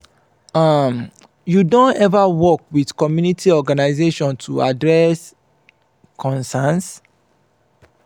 um you don ever work with community organization to address concerns?